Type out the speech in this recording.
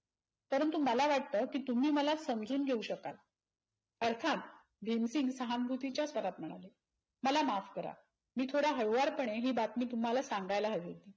परंतु मला वाटत कि तुम्ही मला समजून घेऊ शकाल. अर्थात भिंतीं सहानभूती च्या स्थरातना. मला माफ करा मी थोड्या हळुवार पणे हि बातमी तुम्हाला सांगायला हवी होती.